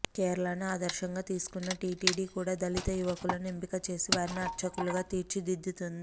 కేరళను ఆదర్శంగా తీసుకున్న టీటీడీ కూడా దళిత యువకులను ఎంపికచేసి వారిని అర్చకులుగా తీర్చుదిద్దుతోంది